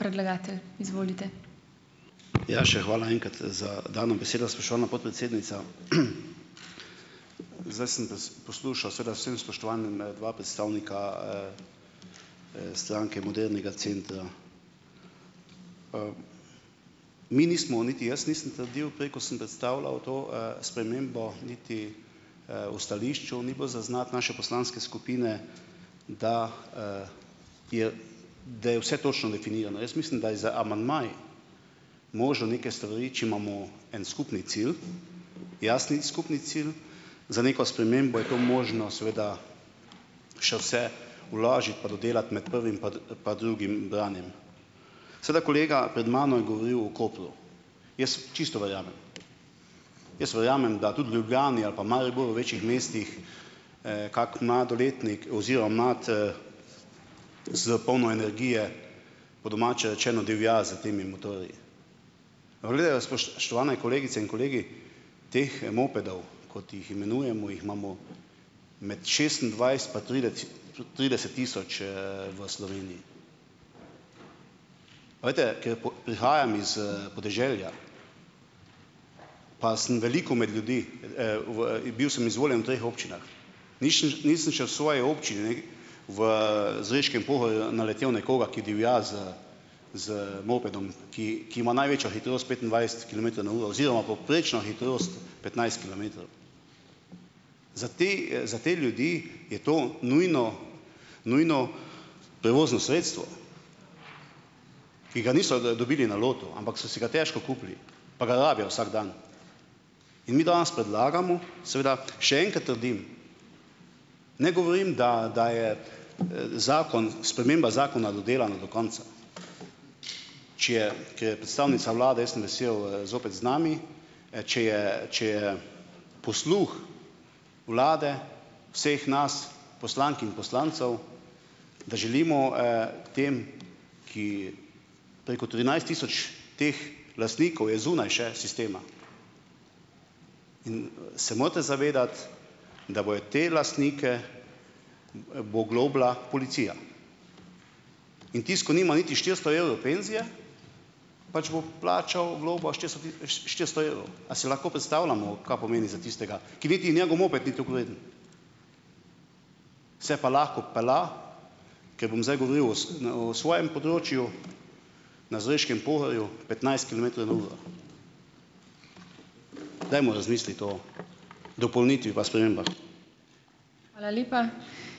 Ja, še hvala enkrat za dano besedo, spoštovana podpredsednica. Zdaj sem poslušal seveda z vsem spoštovanjem dva predstavnika, Stranke modernega centra. Mi nismo niti jaz nisem trdil, prej, ko sem predstavljal to, spremembo, niti, v stališču ni bilo zaznati naše poslanske skupine, da, je da je vse točno definirano. Jaz mislim, da je z amandmaji možno neke stvari, če imamo en skupni cilj, jasni skupni cilj, za neko spremembo, je to možno seveda še vse vložiti pa dodelati med prvim pa pa drugim branjem. Seveda kolega pred mano je govoril o Kopru. Jaz čisto verjamem. Jaz verjamem, da tudi v Ljubljani ali pa Mariboru, večih mestih, kako mladoletnik oziroma mlad, s polno energije, po domače rečeno, divja s temi motorji. Aba glejte, spoštovane kolegice in kolegi, teh mopedov, kot jih imenujemo, jih imamo med šestindvajset pa trideset tisoč, v Sloveniji. A veste, ker prihajam iz, podeželja, pa sem veliko med ljudi, v i bil sem izvoljen v treh občinah. Nišn nisem še v svoji občini v, Zreškem Pohorju naletel nekoga, ki divja z z mopedom, ki ki ima največjo hitrost petindvajset kilometrov na uro oziroma povprečno hitrost petnajst kilometrov. Za te, za te ljudi je to nujno nujno prevozno sredstvo, ki ga niso dobili na lotu, ampak so si ga težko kupili, pa ga rabijo vsak dan. In mi danes predlagamo, seveda še enkrat trdim, ne govorim, da da je, zakon, sprememba zakona dodelana do konca. Če je, ker je predstavnica vlade, jaz sem vesel, zopet z nami, če je če je posluh vlade, vseh nas poslank in poslancev, da želimo, tem, ki, preko trinajst tisoč teh lastnikov je zunaj še sistema. In, se morate zavedati, da bojo te lastnike bo oglobila policija. In tisti, ki nima niti štiristo evrov penzije, pač bo plačal globo štiristo štiristo evrov. A si lahko predstavljamo, kaj pomeni za tistega, ki niti njegov moped ni toliko vreden? Se pa lahko pelja, ker bom zdaj govoril o na o svojem področju - na Zreškem Pohorju - petnajst kilometrov na uro. Dajmo razmisliti o dopolnitvi pa spremembah.